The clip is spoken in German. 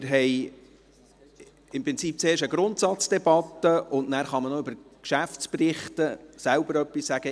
Wir führen im Prinzip zuerst eine Grundsatzdebatte, und anschliessend kann man noch zu den Geschäftsberichten selbst etwas sagen.